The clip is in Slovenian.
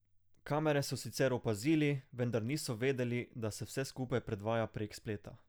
Kamere so sicer opazili, vendar niso vedeli, da se vse skupaj predvaja prek spleta.